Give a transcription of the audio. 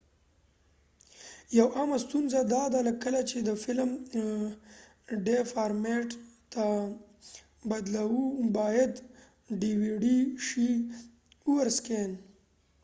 یو عامه ستونزه داده کله چې د فلم ډي وي ډیdvd فارمیټ ته بدلوو باید اوور سکېن over scan شي